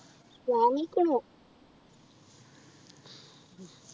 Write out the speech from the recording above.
വാങ്ങിയിക്കുണു